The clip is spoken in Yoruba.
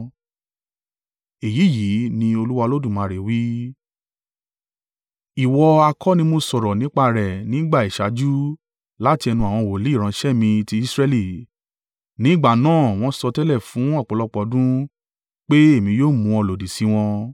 “ ‘Èyí yìí ni Olúwa Olódùmarè wí: Ìwọ ha kọ́ ni mo sọ̀rọ̀ nípa rẹ̀ ní ìgbà ìṣáájú láti ẹnu àwọn wòlíì ìránṣẹ́ mi ti Israẹli? Ní ìgbà náà wọ́n sọtẹ́lẹ̀ fún ọ̀pọ̀lọpọ̀ ọdún pé èmi yóò mú ọ lòdì sí wọn.